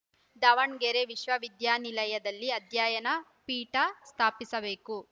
ದಾವಣಗೆರೆ ವಿಶ್ವ ವಿದ್ಯಾನಿಲಯದಲ್ಲಿ ಅಧ್ಯಯನ ಪೀಠ ಸ್ಥಾಪಿಸಬೇಕು